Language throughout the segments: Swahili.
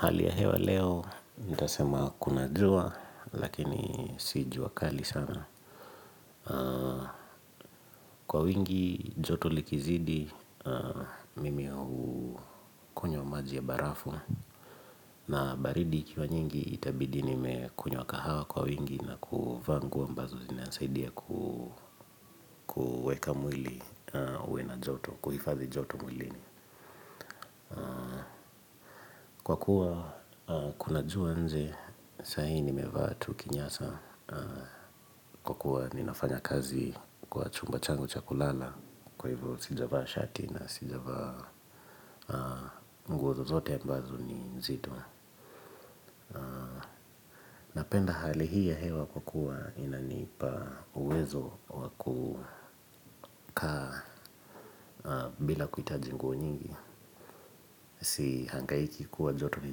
Hali ya hewa leo, niitasema kuna jua, lakini si jua kali sana. Kwa wingi, joto likizidi, mimi hukunywa maji ya barafu. Na baridi ikiwa nyingi, itabidi nimekunywa kahawa kwa wingi na kuvaa nguo mbazo zinanisaidia kuweka mwili uwe na joto, kuhifadhii joto mwilini. Kwa kuwa kuna jua nje sahi nimevaa tu kinyasa kwa kuwa ninafanya kazi kwa chumba changu cha kulala. Kwa hivyo sijavaa shati na sijavaa mguo zozote mbazo ni nzito. Napenda hali hii ya hewa kwa kuwa inanipa uwezo waku kaa bila kuhitaji nguo nyingi. Si hangaiki kuwa joto ni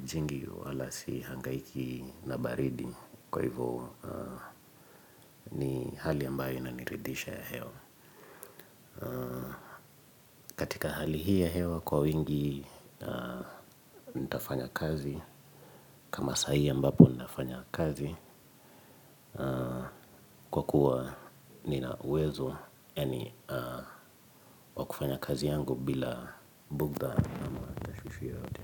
jingi wala si hangaiki na baridi. Kwa hivyo ni hali ambayo inaniridhisha hewa katika hali hii ya hewa kwa wingi nitafanya kazi. Kama sahi mbapo ninafanya kazi. Kwa kuwa ninawezo wa yani wa kufanya kazi yangu bila bugdha ama tashwishwi yoyote.